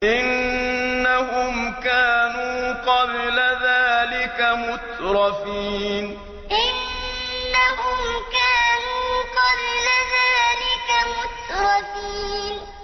إِنَّهُمْ كَانُوا قَبْلَ ذَٰلِكَ مُتْرَفِينَ إِنَّهُمْ كَانُوا قَبْلَ ذَٰلِكَ مُتْرَفِينَ